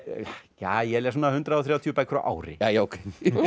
ég les svona hundrað og þrjátíu bækur á ári jæja ókei